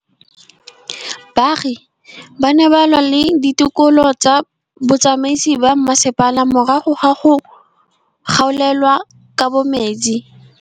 Baagi ba ne ba lwa le ditokolo tsa botsamaisi ba mmasepala morago ga go gaolelwa kabo metsi.